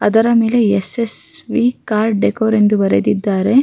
ಅದರ ಮೇಲೆ S S V car decor ಎಂದು ಬರೆದಿದ್ದಾರೆ.